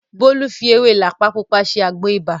Bólú fi ewé làpá Pupa ṣe àgbo ibà